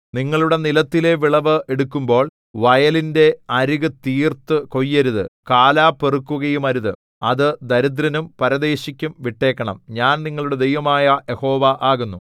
നിങ്ങളുടെ നിലത്തിലെ വിളവ് എടുക്കുമ്പോൾ വയലിന്റെ അരികു തീർത്തു കൊയ്യരുത് കാലാ പെറുക്കുകയുമരുത് അത് ദരിദ്രനും പരദേശിക്കും വിട്ടേക്കേണം ഞാൻ നിങ്ങളുടെ ദൈവമായ യഹോവ ആകുന്നു